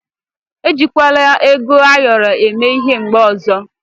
E jikwala ego ayọrọ eme ịhe mgbe ọzọ.